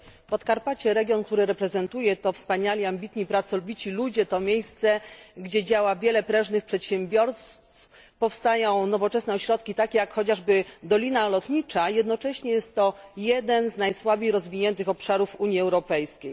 Podkarpacie region, który reprezentuję to wspaniali, ambitni, pracowici ludzie, to miejsce, gdzie działa wiele prężnych przedsiębiorstw, powstają nowoczesne ośrodki takie jak chociażby Dolina Lotnicza, a jednocześnie jest to jeden z najsłabiej rozwiniętych obszarów Unii Europejskiej.